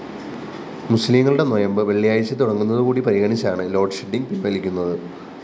മുസ്ലീംങ്ങളുടെ നൊയമ്പ്‌ വെള്ളിയാഴ്ച തുടങ്ങുന്നതുകൂടി പരിഗണിച്ചാണ്‌?ലോഡ്ഷെഡ്ഡിംഗ്‌ പിന്‍വലിക്കുന്നത്‌